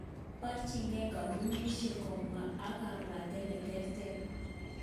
Borchinge kompunishek kobwa ak kabwatet neterter.